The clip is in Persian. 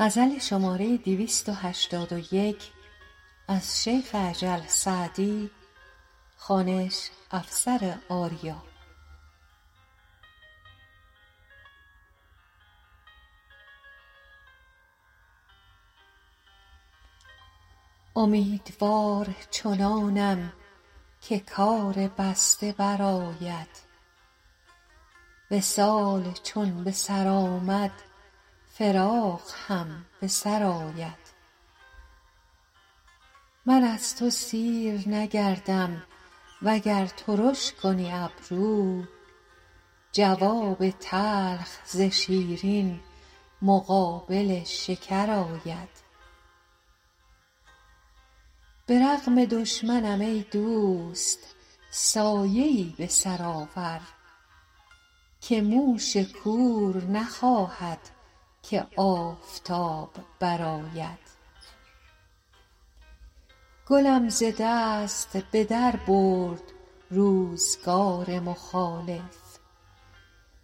امیدوار چنانم که کار بسته برآید وصال چون به سر آمد فراق هم به سر آید من از تو سیر نگردم وگر ترش کنی ابرو جواب تلخ ز شیرین مقابل شکر آید به رغم دشمنم ای دوست سایه ای به سر آور که موش کور نخواهد که آفتاب برآید گلم ز دست به در برد روزگار مخالف